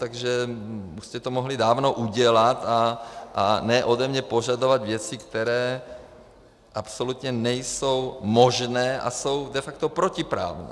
Takže jste to mohli dávno udělat a ne ode mě požadovat věci, které absolutně nejsou možné a jsou de facto protiprávní.